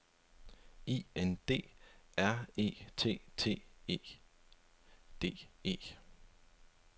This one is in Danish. I N D R E T T E D E